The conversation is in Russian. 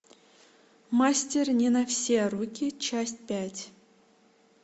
мастер не на все руки часть пять